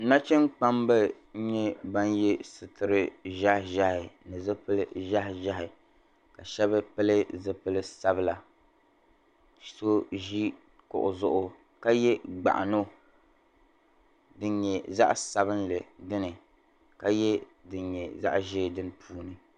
Nachinkpamba nyɛ ban ye suturi ʒehi ʒehi ni zupili ʒehi ʒehi ka shɛba pili zupil'sabila so ʒi kuɣi zuɣu ka ye gbaɣino din nyɛ zaɣ'sabili dini ka ye din nyɛ zaɣ'ʒee niŋ puuni.